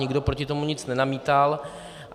Nikdo proti tomu nic nenamítal.